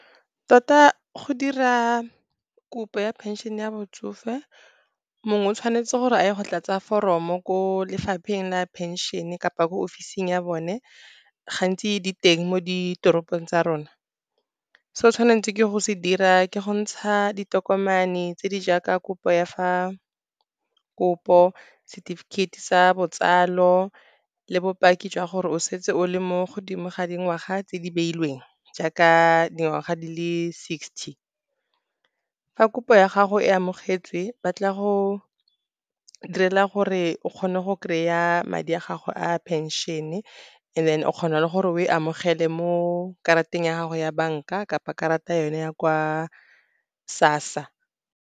Tota go dira kopo ya phenšene ya botsofe, mongwe o tshwanetse gore a ye go tlatse foromo ko lefapheng la phenšene kapa ko ofising ya bone, gantsi di teng mo ditoropong tsa rona. Se o tshwanetseng ke go se dira ke go ntsha ditokomane tse di jaaka kopo, setefikeiti sa botsalo le bopaki jwa gore o setse o le mo godimo ga dingwaga tse di beilweng, jaaka dingwaga di le sixty. Fa kopo ya gago e amogetswe, ba tla go direla gore o kgone go kry-a madi a gago a phenšene and then o kgona le gore o e amogele mo karateng ya gago ya banka kapa karata yone ya kwa SASSA.